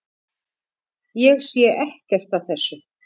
Ég sé ekkert að þessu.